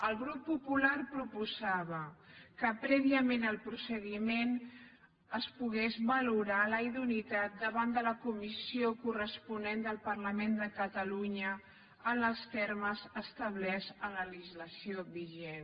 el grup popular proposava que prèviament al procediment es pogués valorar la idoneïtat davant de la comissió corresponent del parlament de catalunya en els termes establerts en la legislació vigent